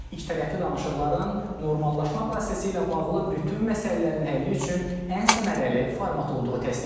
İkitərəfli danışıqların normallaşma prosesi ilə bağlı bütün məsələlərin həlli üçün ən səmərəli format olduğu təsdiqlənib.